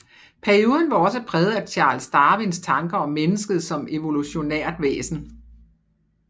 Perioden var også præget af Charles Darwins tanker om mennesket som evolutionært væsen